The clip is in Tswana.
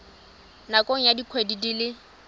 nakong ya dikgwedi di le